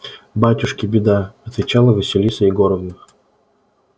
батюшки беда отвечала василиса егоровна